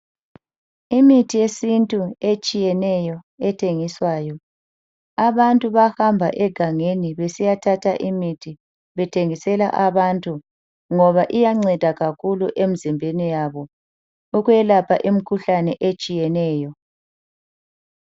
Imithi yesintu etshiyeneyo ethengiswayo. Abantu bayahamba egangeni besiyathatha imithi bethengisela abantu ngoba iyanceda kakhulu emzimbeni yabo ukwelapha imikhuhlane etshiyeneyo.